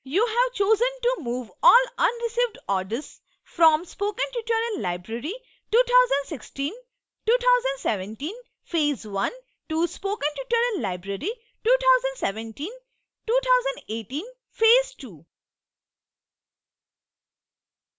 you have chosen to move all unreceived orders from spoken tutorial library 20162017 phase i to spoken tutorial library 20172018 phase ii